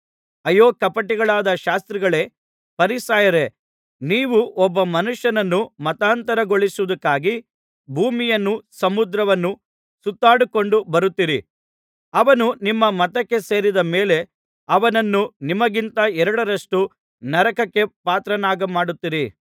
ಅಯ್ಯೋ ಕಪಟಿಗಳಾದ ಶಾಸ್ತ್ರಿಗಳೇ ಫರಿಸಾಯರೇ ನೀವು ಒಬ್ಬ ಮನುಷ್ಯನನ್ನು ಮತಾಂತರಗೊಳ್ಳಿಸುವುದಕ್ಕಾಗಿ ಭೂಮಿಯನ್ನೂ ಸಮುದ್ರವನ್ನೂ ಸುತ್ತಾಡಿಕೊಂಡು ಬರುತ್ತೀರಿ ಅವನು ನಿಮ್ಮ ಮತಕ್ಕೆ ಸೇರಿದ ಮೇಲೆ ಅವನನ್ನು ನಿಮಗಿಂತ ಎರಡರಷ್ಟು ನರಕಕ್ಕೆ ಪಾತ್ರನಾಗಮಾಡುತ್ತೀರಿ